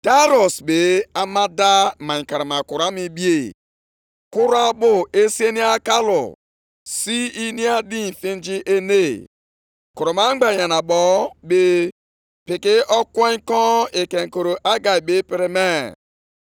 Nʼụbọchị nke iri abụọ na anọ, nʼọnwa itoolu, nke afọ abụọ, nke ọchịchị eze Daraiọs, okwu Onyenwe anyị bịakwutere onye amụma, bụ Hegai.